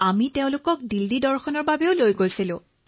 আমি তেওঁলোকক দিল্লী দেখুৱাবলৈ লৈ গলো